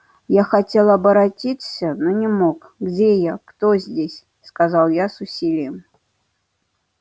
я хотел оборотиться но не мог где я кто здесь сказал я с усилием